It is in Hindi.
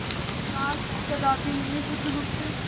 विश्वास कदापि नहीं बुधगुप्त